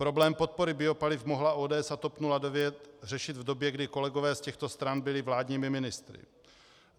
Problém podpory biopaliv mohla ODS a TOP 09 řešit v době, kdy kolegové z těchto stran byli vládními ministry.